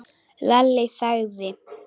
Lalli þagði.